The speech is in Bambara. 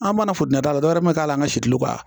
An mana ta dɔrɔn dɔw yɛrɛ ma k'a la an ka si tulo kan